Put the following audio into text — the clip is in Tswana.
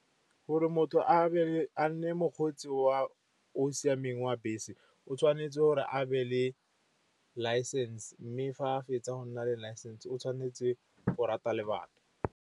Gore motho a nne mokgweetsi o siameng wa bese, o tshwanetse gore a be le license, mme fa a fetsa go nna le license o tshwanetse o rata le bana.